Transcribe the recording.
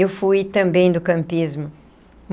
Eu fui também do campismo.